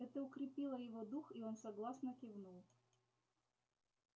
это укрепило его дух и он согласно кивнул